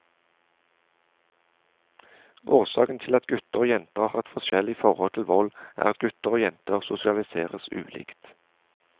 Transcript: Årsakene til at gutter og jenter har et forskjellig forhold til vold, er at gutter og jenter sosialiseres ulikt.